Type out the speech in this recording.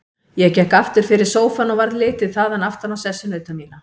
Ég gekk aftur fyrir sófann og varð litið þaðan aftan á sessunauta mína.